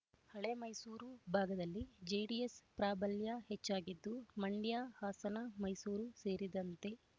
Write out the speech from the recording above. ಹಳೆಮೈಸೂರು ಭಾಗದಲ್ಲಿ ಜೆಡಿಎಸ್ ಪ್ರಾಬಲ್ಯ ಹೆಚ್ಚಾಗಿದ್ದು ಮಂಡ್ಯ ಹಾಸನ ಮೈಸೂರು ಸೇರಿದಂತೆ